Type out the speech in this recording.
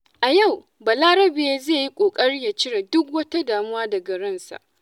A yau, Balarabe zai yi ƙoƙari ya cire duk wata damuwa daga ransa.